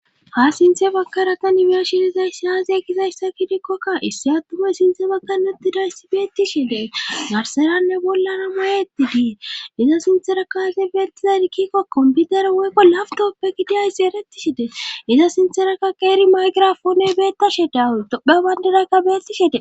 ha sinthe bakaraka nimeeshidizay siyaaziye kizayssa kidikkokka issi atufe sinthe bakanetidayssi beetti shidee garseranne bollana ma7eetti dii iza sinterakaase beettizadikkikko komputer woykko laf tooppe gidiyayssi erettishidee iza sinterakka qeeri maygirafooney beettashe dawu dopha bayndedakka bettishide